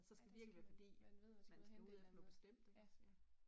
Så skal det virkelig være fordi man skal ud efter noget bestemt ik, ja